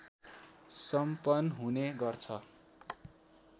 सम्पन हुने गर्छ